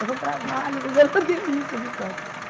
Dava um trabalho, mas era uma delícia as histórias.